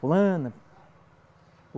Fulana.